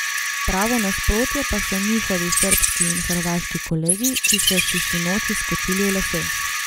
Pravo nasprotje pa so njihovi srbski in hrvaški kolegi, ki so si sinoči skočili v lase.